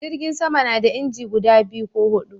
Jirgin sama na da inji guda biyu ko hudu